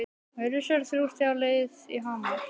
Virðast vera þrjú stig á leið í Hamar?